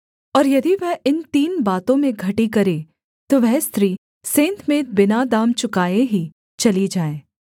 और यदि वह इन तीन बातों में घटी करे तो वह स्त्री सेंतमेंत बिना दाम चुकाए ही चली जाए